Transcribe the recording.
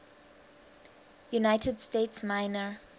united states minor